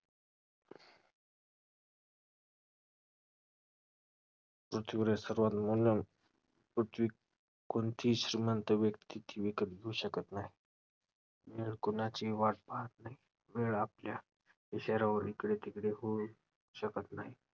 पृथ्वीवरील सर्वात पृथ्वी~ कोणतीही श्रीमंत व्यक्ती ती विकत घेऊ शकत नाही. वेळ कोणाचीही वाट पाहत नाही. वेळ आपल्या इशाऱ्यावर इकडे-तिकडे होऊ शकत नाही.